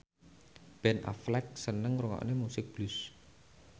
Ben Affleck seneng ngrungokne musik blues